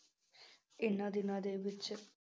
ਇਹਨਾਂ ਦਿਨਾਂ ਦੇ ਵਿੱਚ